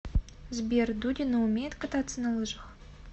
сбер дудина умеет кататься на лыжах